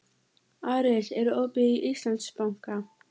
Aris, er opið í Íslandsbanka?